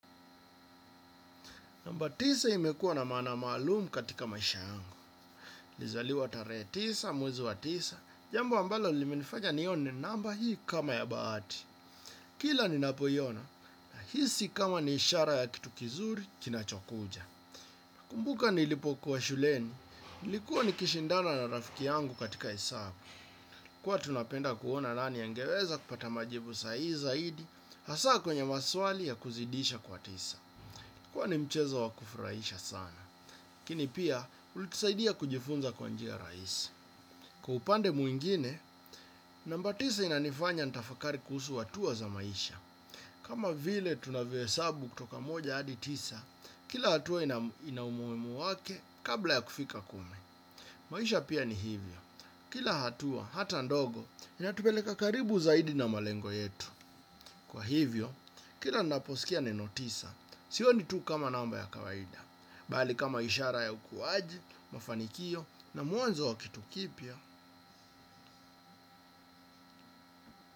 Namba tisa imekuwa na maana malumu katika maisha yangu. Nliizaliwa tare tisa, mwezi wa tisa, jambo ambalo limenifanya nione namba hii kama ya baati. Kila ninapoiona, nahisi kama ni ishara ya kitu kizuri kinachokuja. nakumbuka nilipokuwa shuleni, nilikuwa ni kishindana na rafiki yangu katika hesabu. Huwa tunapenda kuona nani ya angeweza kupata majibu sahihi zaidi, hasa kwenye maswali ya kuzidisha kwa tisa. Huwa ni mchezo wa kufurahisha sana. laKini pia ulitusaidia kujifunza kwa njia raisi. Kwa upande mwingine, namba tisa inanifanya ntafakari kuhusu atua za maisha. Kama vile tunavyo hesabu kutoka moja hadi tisa, kila hatua ina umuimu wake kabla ya kufika kumi. Maisha pia ni hivyo. Kila hatua, hata ndogo, inatup noeleka karibu zaidi na malengo yetu. Kwa hivyo, kila naposikia neno tisa, sioni tu kama namba ya kawaida. Bali kama ishara ya ukuwaji, mafanikio na muanzo wa kitu kipya.